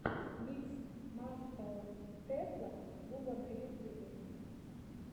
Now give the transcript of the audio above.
микс маскоу тесла клуба на ютьюбе